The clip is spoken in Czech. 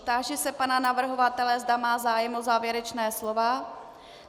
Táži se pana navrhovatele, zda má zájem o závěrečné slovo.